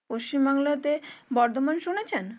পশ্চিমবাংলাতে বর্ধমান শুনেছেন?